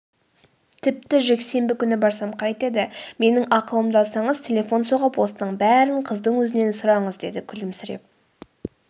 тіпті жексенбі күні барсам қайтеді менің ақылымды алсаңыз телефон соғып осының бәрін қыздың өзінен сұраңыз деді күлімсіреп